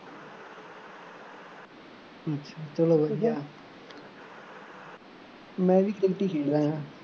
ਚੱਲੋ ਵਧੀਆ ਮੈਂ ਵੀ ਖੇਡੀ ਸੀ